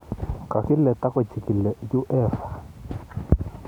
Kakile takochikili UEFA